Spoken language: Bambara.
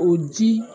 O ji